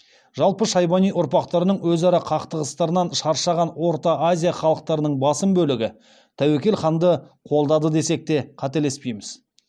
жалпы шайбани ұрпақтарының өзара қақтығыстарынан шаршаған орта азия халықтарының басым бөлігі тәуекел ханды қолдады десек қателеспейміз